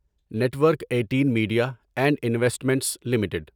net work eighteen media and investments limited